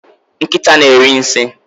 nkịta na-eri nsị